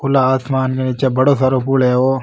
खुला आसमान है निचे बड़ी सारो पूल है ओ।